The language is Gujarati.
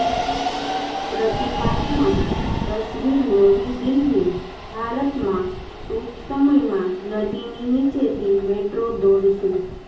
પ્રતિકાત્મક તસવીરનવી દિલ્હીઃ ભારતમાં ટૂંક સમયમાં નદીની નીચેથી મેટ્રો દોડશે